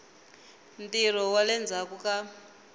ntirho wa le ndzhaku ka